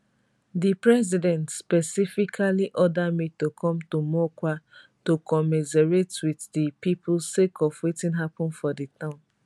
di president specifically order me to come to mokwa to commiserate wit di pipo sake of wetin happun for di town